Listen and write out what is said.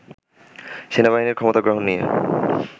সেনাবাহিনীর ক্ষমতা গ্রহণ নিয়ে